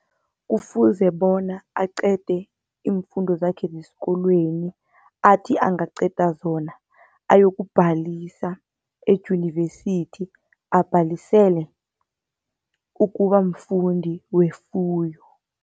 Kufuze bona aqede iimfundo zakhe ngesikolweni athi angaqeda zona, ayokubhalisa eyunivesithi abhalisele ukuba mfundi wefuyo.